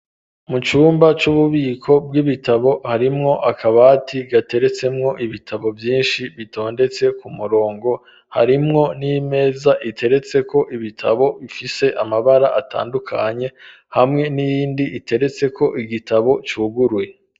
Mu cumba c'ububiko bw'ibitabo harimwo akabati gateretsemwo ibitabo vyinshi bitondetse ku murongo harimwo n'imeza iteretseko ibitabo bifise amabara atandukanye hamwe n'iyindi iteretseko igitabo cuguruye.